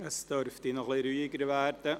Es dürfte noch etwas ruhiger werden.